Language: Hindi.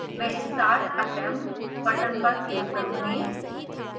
मैं start attempt button पर click करूँगी